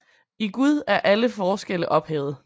I Gud er alle forskelle ophævet